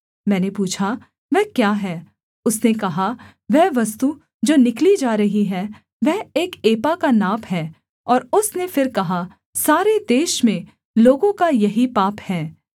मैंने पूछा वह क्या है उसने कहा वह वस्तु जो निकली जा रही है वह एक एपा का नाप है और उसने फिर कहा सारे देश में लोगों का यही पाप है